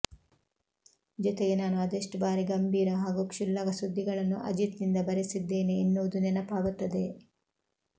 ಜೊತೆಗೆ ನಾನು ಅದೆಷ್ಟು ಬಾರಿ ಗಂಭೀರ ಹಾಗೂ ಕ್ಷುಲ್ಲಕ ಸುದ್ದಿಗಳನ್ನು ಅಜಿತ್ನಿಂದ ಬರೆಸಿದ್ದೇನೆ ಎನ್ನುವುದು ನೆನಪಾಗುತ್ತದೆ